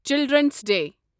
children's day